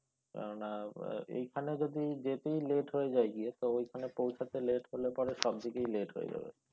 কেননা এইখানেই যদি যেতেই late হয়ে যায় গিয়ে তো এখানে পৌঁছাতে late হলে পরে সবদিকেই late হয়ে যাবে।